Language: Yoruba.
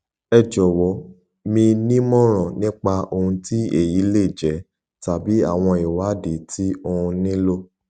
ẹ jọwọ mi nímòràn nípa ohun tí èyí lè jẹ tàbí àwọn ìwádìí tí òun nílò